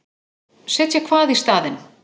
Setja hvað í staðinn?